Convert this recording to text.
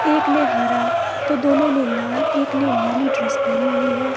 एक ने हरा तो दोनों ने लाल एक ने नीली ड्रेस पहनी हुई है।